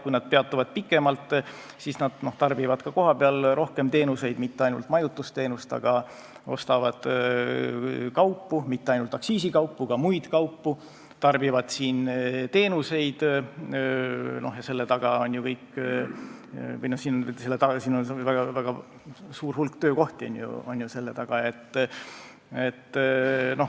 Kui nad peatuvad pikemalt, siis nad tarbivad rohkem teenuseid, mitte ainult majutusteenust, nad ostavad kaupu, mitte ainult aktsiisikaupu, ka muid kaupu, ja selle taga on väga suur hulk töökohti.